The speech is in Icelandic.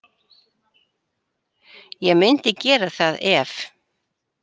Ég myndi gera það ef.